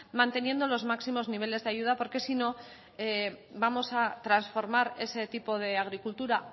manteniendo los máximos niveles de ayuda porque si no vamos a transformar ese tipo de agricultura